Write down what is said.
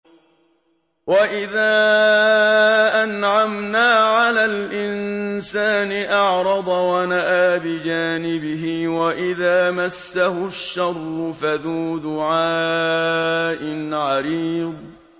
وَإِذَا أَنْعَمْنَا عَلَى الْإِنسَانِ أَعْرَضَ وَنَأَىٰ بِجَانِبِهِ وَإِذَا مَسَّهُ الشَّرُّ فَذُو دُعَاءٍ عَرِيضٍ